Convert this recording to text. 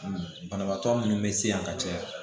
Banabaatɔ minnu bɛ se yan ka caya